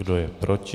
Kdo je proti?